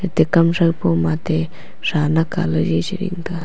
ate kam tho pow ma ate shanak ale chi ding tega.